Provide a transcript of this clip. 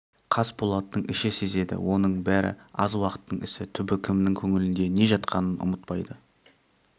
қасболаттың іші сезеді оның бәрі аз уақыттың ісі түбі кімнің көңілінде не жатқанын ұмытпайды